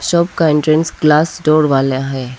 सब का entrance glass door वाला है।